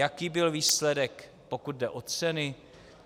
Jaký byl výsledek, pokud jde o ceny?